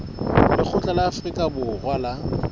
lekgotla la afrika borwa la